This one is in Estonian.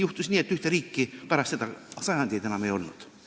Juhtus nii, et ühte riiki pärast seda sajandeid enam ei olnud.